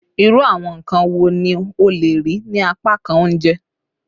Iru awọn nkan wo ni o le rii ni apakan ounjẹ?